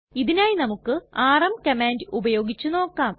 ഇതിനായി നമുക്ക് rm command ഉപയോഗിച്ച് നോക്കാം